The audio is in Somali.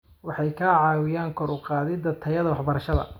Waxay ka caawiyaan kor u qaadida tayada waxbarashada.